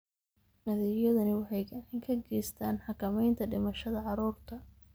Adeegyadani waxay gacan ka geystaan ??xakamaynta dhimashada carruurta.